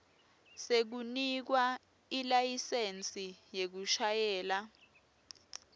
sekunikwa ilayisensi yekushayela